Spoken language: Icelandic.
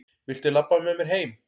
Viltu labba með mér heim!